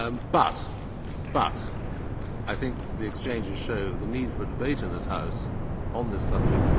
But I think the exchanges show the need for a debate in this House on this subject.